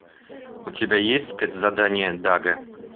у тебя есть спецзадание дага